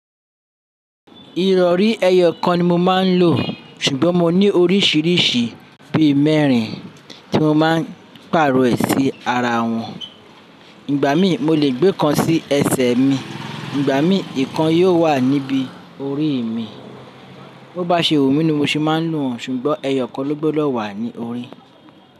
Ìrọ̀rí ẹyọkan ni mo máa ń lò, ṣùgbọ́n mo ní oríṣiríṣi bí mẹ́rin tí mo máa ń pàrọ̀ ẹ sí ara wọn. Ìgbà mí, mo lè gbé kan sí ẹsẹ̀ mi, ìgbà mí ìkan yóò wà níbi orí mi. Bo bá ṣe wú mi ni mo ṣe máa ń lo won, ṣùgbọ́n ẹyọkan ló gbodo wà ní orí.